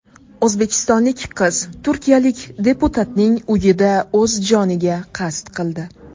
O‘zbekistonlik qiz turkiyalik deputatning uyida o‘z joniga qasd qildi.